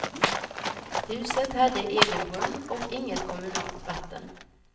Huset hade egen brunn och inget kommunalt vatten.